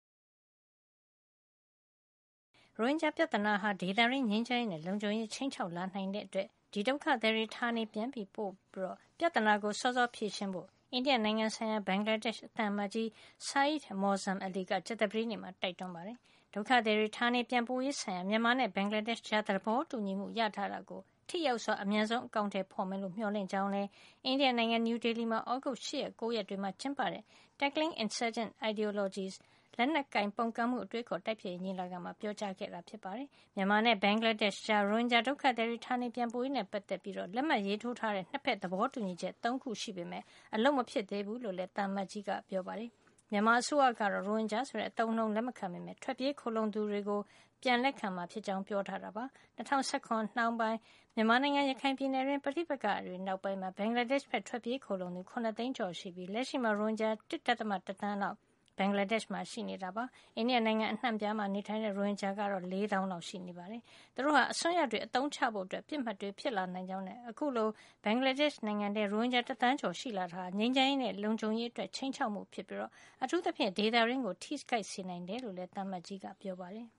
ရိုဟင်ဂျာပြဿနာဟာ ဒေသတွင်းငြိမ်းချမ်းရေးနဲ့ လုံခြုံရေးကို ခြိမ်းခြောက်လာနိုင်တဲ့အတွက် ဒီဒုက္ခသည်တွေကို ဌာနေပြန်ပို့ပြီး ပြဿနာကို စောစောဖြေရှင်းကြဖို့ အိန္ဒိယနိုင်ငံဆိုင်ရာ ဘင်္ဂလားဒေ့ရှ် သံအမတ်ကြီး Syed Muazzem Ali က ကြာသပတေးနေ့က တိုက်တွန်းလိုက်ပါတယ်။ ဒုက္ခသည်တွေ ဌာနေပြန်ပို့ရေးဆိုင်ရာ မြန်မာနဲ့ ဘင်္ဂလားဒေ့ရှ်ကြား သဘောတူညီမှု ရထားတာကို ထိရောက်စွာ အမြန်ဆုံး အကောင်ထည် ဖေါ်မယ်လို့ သူမျှော်လင့် ထားကြောင်းလည်း အိန္ဒိယနိုင်ငံ နယူးဒေလီမှာ သြဂုတ်လ ၈ ရက်နဲ့ ၉ ရက်တွေမှာ ကျင်းပတဲ့ ' Tackling Insurgent Ideologies' လက်နက်ကိုင်ပုန်ကန်မှု အတွေးအခေါ် တိုက်ဖျက်ရေး ညီလာခံမှာ ပြောကြားခဲ့တာပါ။ မြန်မာနဲ့ ဘင်္ဂလားဒေ့ရှ်ကြား ရိုဟင်ဂျာဒုက္ခသည်တွေ ဌာနေပြန်ပို့ရေးနဲ့ ပတ်သက်ပြီး လက်မှတ်ရေးထိုးထားတဲ့ ၂ ဖက်သဘောတူညီချက် ၃ ခု ရှိပေမယ့် အလုပ်မဖြစ် သေးဘူးလို့လည်း သံအမတ်ကြီး Ali ကပြောပါတယ်။ မြန်မာအစိုးရကတော့ ရိုဟင်ဂျာ ဆိုတဲ့ အသုံးအနှုန်းကို လက်မခံပေမယ့် ထွက်ပြေးခိုလှုံသူတွေကို ပြန်လက်ခံမှာ ဖြစ်ကြောင်း ပြောထားတာပါ။ ၂၀၁၇ ခုနှစ်နှောင်းပိုင်းမှာ မြန်မာနိုင်ငံ ရခိုင်ပြည်နယ်တွင်း ပဋိပက္ခတွေ နောက်ပိုင်း ဘင်္ဂလားဒေ့ရှ် ဘက် ထွက်ပြေးခိုလှုံလာသူ ၇ သိန်းကျော် ရှိခဲ့ပြီး လက်ရှိမှာ ရိုဟင်ဂျာ ၁.၁ သန်းလောက် ဘင်္ဂလားဒေ့ရှ် မှာ ရှိနေတာပါ။ အိန္ဒိယနိုင်ငံ နေရာအနှံ့အပြားမှာ နေထိုင်တဲ့ ရိုဟင်ဂျာ တွေကတော့ ၄၀၀၀၀ လောက် ရှိနေတာဖြစ်ပါတယ်။ သူတို့ဟာ အစွန်းရောက်တွေအသုံးချဖို့ ပစ်မှတ်ဖြစ်လာနိုင်ကြောင်းနဲ့ အခုလို ဘင်္ဂလားဒေ့ရှ်နိုင်ငံထဲ ရိုဟင်ဂျာ တသန်းကျော် ရှိလာတာဟာ ငြိမ်းချမ်းရေးနဲ့ လုံခြုံရေးအတွက် ခြိမ်းခြောက်မှု ဖြစ်ပြီး အထူးသဖြင့် ဒေသတွင်းကို ထိခိုက်စေနိုင်တယ်လို့လည်း သံအမတ်ကြီး Ali ကပြောပါတယ်။